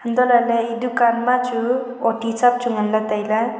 antohlaley e dukaan ma chu oti chap chu ngan la tailey.